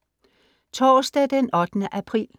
Torsdag den 8. april